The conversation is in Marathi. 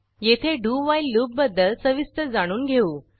येथे डू व्हाईल लूप बद्दल सविस्तर जाणून घेऊ